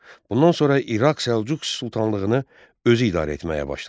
Bundan sonra İraq Səlcuq sultanlığını özü idarə etməyə başladı.